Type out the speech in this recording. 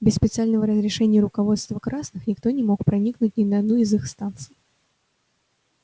без специального разрешения руководства красных никто не мог проникнуть ни на одну из их станций